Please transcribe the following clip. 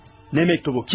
Nə məktubu?